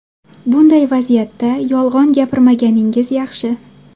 Bunday vaziyatda yolg‘on gapirmaganingiz yaxshi.